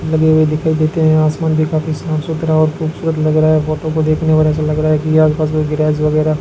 लगे हुए दिखाई देते हैं आसमान भी काफी साफ सुथरा और खूबसूरत लग रहा है फोटो को देखने से ऐसा लग रहा है कि आस पास में गराज वगैरा --